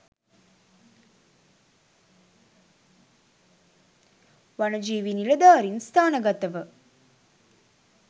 වනජීවි නිලධාරින් ස්ථානගතව